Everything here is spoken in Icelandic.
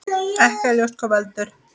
Ekki er ljóst hvað veldur.